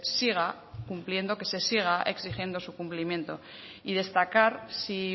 siga cumpliendo que se siga exigiendo su cumplimiento y destacar si